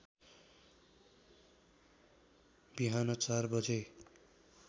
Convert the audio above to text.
बिहान ४ बजे